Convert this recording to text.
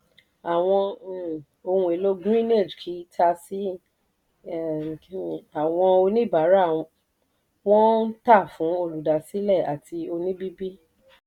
àwọn um ohun èlò greenage kì í tà sí àwọn oníbàárà; wọ́n ń tà fún olùdásílẹ̀ àti oníbìbì.